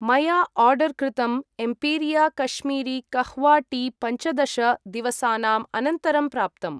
मया आर्डर् कृतं Empiria Kashmiri kahwa tea पञ्चदश दिवसानाम् अनन्तरं प्राप्तम्।